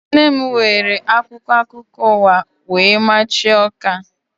Nne m were akwụkwọ akụkọ ụwa wee machie ọka